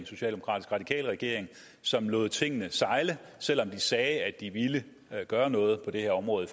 socialdemokratisk radikal regering som lod tingene sejle selv om de sagde at de ville gøre noget på det her område